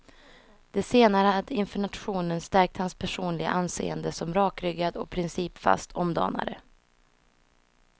Det senare hade inför nationen stärkt hans personliga anseende som rakryggad och principfast omdanare.